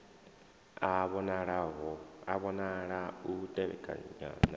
a vhonala u tevhekana na